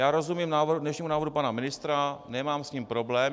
Já rozumím dnešnímu návrhu pana ministra, nemám s ním problém.